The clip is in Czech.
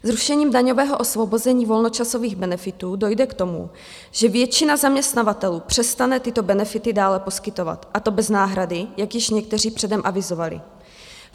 Zrušením daňového osvobození volnočasových benefitů dojde k tomu, že většina zaměstnavatelů přestane tyto benefity dále poskytovat, a to bez náhrady, jak již někteří předem avizovali.